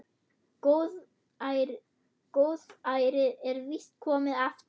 Góðærið er víst komið aftur.